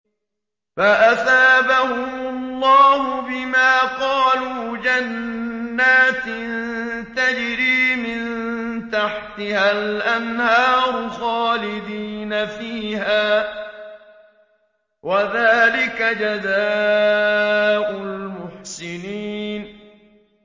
فَأَثَابَهُمُ اللَّهُ بِمَا قَالُوا جَنَّاتٍ تَجْرِي مِن تَحْتِهَا الْأَنْهَارُ خَالِدِينَ فِيهَا ۚ وَذَٰلِكَ جَزَاءُ الْمُحْسِنِينَ